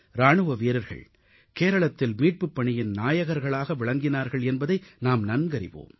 இராணுவ வீரர்கள் கேரளத்தில் மீட்புப் பணியின் நாயகர்களாக விளங்கினார்கள் என்பதை நாம் நன்கறிவோம்